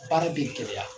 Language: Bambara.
Baara bɛ gɛlɛya